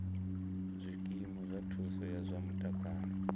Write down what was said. zwikimu zwa thuso ya zwa mutakalo